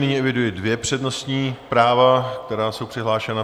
Nyní eviduji dvě přednostní práva, která jsou přihlášena.